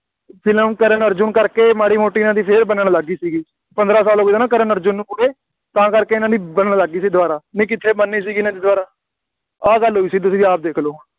film ਕਰਨ-ਅਰਜੁਨ ਕਰਕੇ ਮਾੜ੍ਹੀ ਮੋਟੀ ਇਹਨਾ ਦੀ ਫੇਰ ਬਣਨ ਲੱਗ ਗਈ ਸੀਗੀ, ਪੰਦਰਾਂ ਸਾਲ ਹੋ ਗਏ ਨਾ ਕਰਨ ਅਰਜੁਨ ਨੂੰ ਪੂਰੇ, ਤਾਂ ਕਰਕੇ ਇਹਨਾ ਦੀ ਬਣਨ ਲੱਗ ਗਈ ਸੀ ਦੁਬਾਰਾ ਨਹੀਂ ਕਿੱਥੇ ਬਣਨੀ ਸੀਗੀ ਇਹਨਾ ਦੀ ਦੁਬਾਰਾ, ਆਹ ਗੱਲ ਹੋਈ ਸੀ ਤੁਸੀਂ ਆਪ ਦੇਖ ਲਓ ਹੁਣ,